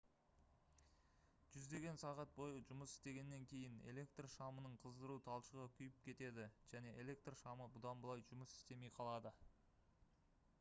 жүздеген сағат бойы жұмыс істегеннен кейін электр шамының қыздыру талшығы күйіп кетеді және электр шамы бұдан былай жұмыс істемей қалады